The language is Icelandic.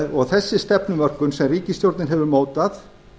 og þessi stefnumörkun sem ríkisstjórnin hefur mótað